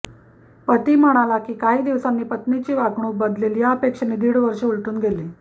पती म्हणाला की काही दिवसांनी पत्नीची वागणूक बदलेल या अपेक्षेने दीड वर्ष उलटून गेलं